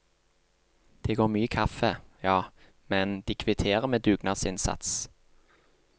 Det går mye kaffe, ja, men de kvitterer med dugnadsinnsats.